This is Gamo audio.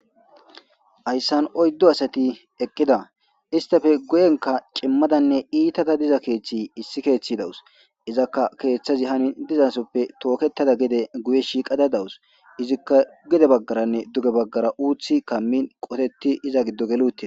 Ayssan oyddo asati eqqida istafe goyenka qimmadanne iitada diza keeththi issi keeththi dawus izakka keeththazi hani dizasoppe tooketada gede guye shiiqada dawus izikka gede baggaranne duge baggara uuthi kammin qoteti iza giddo gelute.